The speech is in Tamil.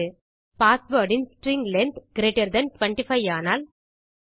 password in string length greater than 25 ஆனால்